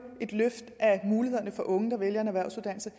et løft af mulighederne for unge der vælger en erhvervsuddannelse